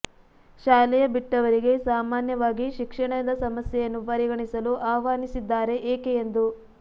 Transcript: ಶಾಲೆಯ ಬಿಟ್ಟವರಿಗೆ ಸಾಮಾನ್ಯವಾಗಿ ಶಿಕ್ಷಣದ ಸಮಸ್ಯೆಯನ್ನು ಪರಿಗಣಿಸಲು ಆಹ್ವಾನಿಸಿದ್ದಾರೆ ಏಕೆ ಎಂದು